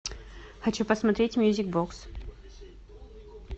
хочу посмотреть мьюзик бокс